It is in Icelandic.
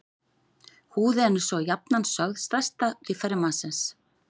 Húðin er svo jafnan sögð stærsta líffæri mannsins.